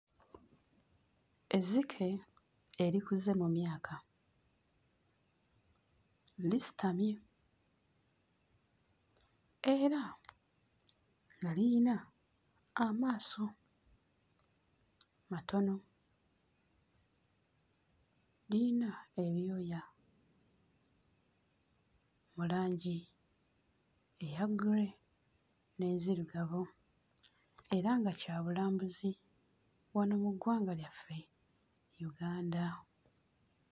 Ezzike erikuze mu myaka. Lisitamye era nga liyina amaaso matono, liyina ebyoya mu langi eya ggule n'enzirugavu era nga kya bulambuzi wano mu ggwanga lyaffe, Uganda.